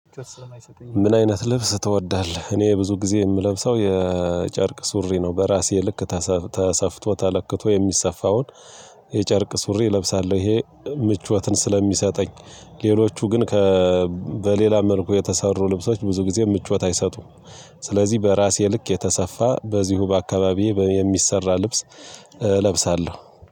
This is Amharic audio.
ምን አይነት ልብስ ትወዳለህ? እኔ ብዙ ጊዜ የምለብሰው የጨርቅ ሱሪ ነው በራሴ ልክ ተሰፍቶ ተለክቶ የሚሰፋውን የጨርቅ ሱሪ እለብሳለሁ ይሄ ምቾትን ስለሚሰጠኝ። ሌሎቹ ግን ካ በሌላ መልኩ የተሰሩ ልብሶች ብዙ ጊዜ ምቾት አይሰጡም። ስለዚህ በራሴ ልክ የተሰፋ በዚሁ በአካባቢዬ የሚሰራ ልብስ እለብሳለሁ።